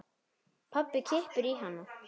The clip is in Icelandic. Pabbi kippir í hana.